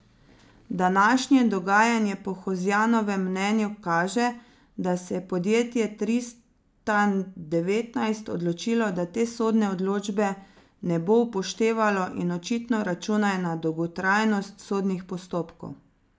Današnje dogajanje po Hozjanovem mnenju kaže, da se je podjetje Tristan devetnajst odločilo, da te sodne odločbe ne bo upoštevalo in očitno računajo na dolgotrajnost sodnih postopkov.